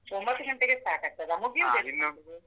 ಒಂಭತ್ತು ಗಂಟೆಗೆ start ಆಗ್ತದಾ? .